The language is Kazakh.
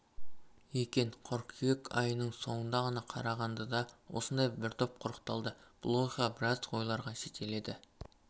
екен қыркүйек айының соңында ғана қарағандыда осындай бір топ құрықталды бұл оқиға біраз ойларға жетеледі